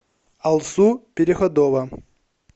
алсу переходова